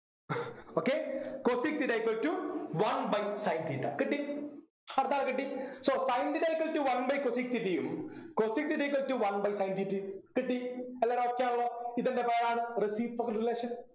okay cosec theta equal to one by sin theta കിട്ടി അടുത്താളെ കിട്ടി so sin theta equal to one by cosec theta യും cosec theta equal to one by sin theta യും കിട്ടി എല്ലാരും okay യാണല്ലോ ഇതിൻ്റെ പേരാണ് reciprocal relation